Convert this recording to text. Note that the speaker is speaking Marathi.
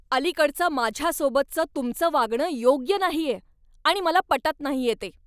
अलीकडचं माझ्यासोबतच तुमचं वागणं योग्य नाहीये आणि मला पटत नाहीये ते.